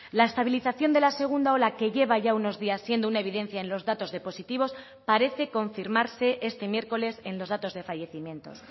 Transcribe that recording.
la estabilización de la segunda ola que lleva ya unos días siendo una evidencia en los datos de positivos parece confirmarse este miércoles en los datos de fallecimientos